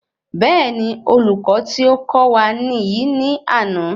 Béèni olùkọ tí o kọ́ wa niyi ni àná